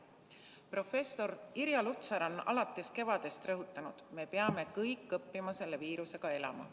Professor Irja Lutsar on alates kevadest rõhutanud: me peame kõik õppima selle viirusega elama.